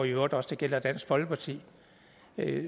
i øvrigt også gælder dansk folkeparti at